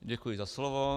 Děkuji za slovo.